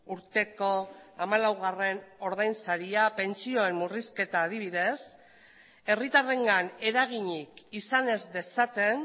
urteko hamalaugarren ordainsaria pentsioen murrizketa adibidez herritarrengan eraginik izan ez dezaten